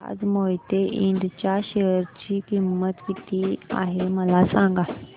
आज मोहिते इंड च्या शेअर ची किंमत किती आहे मला सांगा